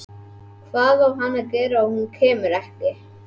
Hvað á hann að gera ef hún kemur ekki?